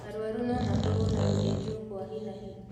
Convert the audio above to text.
Arũarũ no makorwo na gũthĩnjwo kwa hi na hi